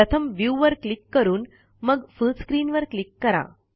प्रथम व्ह्यू वर क्लिक करून मग फुल स्क्रीन वर क्लिक करा